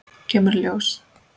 Kemur í ljós!